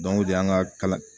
o de y'an ka kala